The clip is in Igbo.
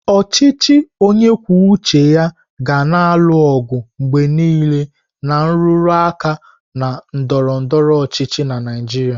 Ọchịchị onye kwuo uche ya ga na-alụ ọgụ mgbe niile na nrụrụ aka na ndọrọ ndọrọ ọchịchị na Naijiria.